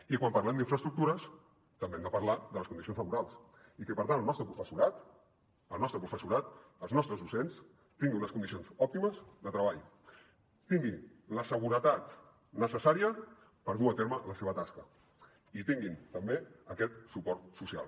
i quan parlem d’infraestructures també hem de parlar de les condicions laborals i que per tant el nostre professorat el nostre professorat els nostres docents tinguin unes condicions òptimes de treball tinguin la seguretat necessària per dur a terme la seva tasca i tinguin també aquest suport social